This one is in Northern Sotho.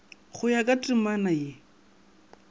go ya ka temana ye